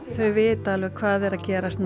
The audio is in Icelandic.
þau vita hvað er að gerast